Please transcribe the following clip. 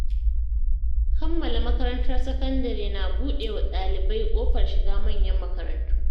Kammala makarantar sakandare na buɗe wa ɗalibai ƙofar shiga manyan makarantu.